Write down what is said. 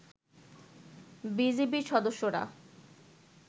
বিজিবির সদস্যরা